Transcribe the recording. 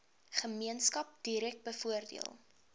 gemeenskap direk bevoordeel